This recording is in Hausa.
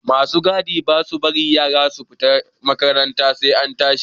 Ma su gadi ba sa barin yara su fita da ga makaranta sai an tashi.